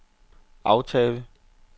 aftale